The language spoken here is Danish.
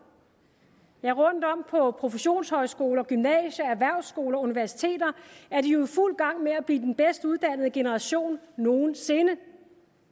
rundtom på professionshøjskoler gymnasier erhvervsskoler og universiteter er de jo i fuld gang med at blive den bedst uddannede generation nogen sinde